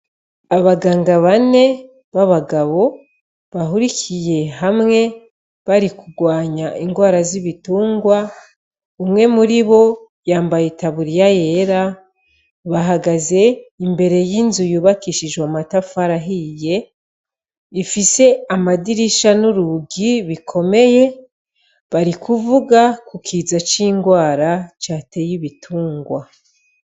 Abaganga bane b'abagabo bahurikiye hamwe bari kugwanya ingwara z'ibitungwa umwe muribo yambaye itaburiya yera ,bahagaze imbere y'inzu yubakishijwe amatafari ahiye ifise amadirisha n'urugi bikomeye barikuvuga ku kiza c'ingwara cateye ibitungwa.